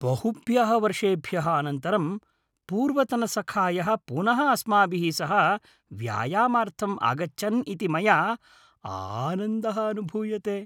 बहुभ्यः वर्षेभ्यः अनन्तरं पूर्वतनसखायः पुनः अस्माभिः सह व्यायामार्थं आगच्छन् इति मया आनन्दः अनुभूयते।